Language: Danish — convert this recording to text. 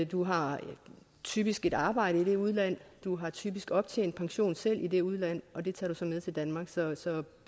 du har typisk et arbejde i det udland du har typisk optjent pension selv i det udland og det tager du så med til danmark så så